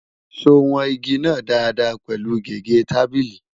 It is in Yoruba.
sọ wọn ìgi nà Dàda pẹlu gégé tábìlì?